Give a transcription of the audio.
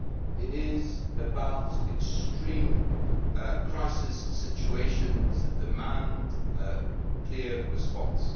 it is about extreme crisis situations that demand a clear response.